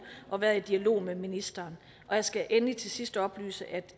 og været i dialog med ministeren og jeg skal endelig til sidst oplyse at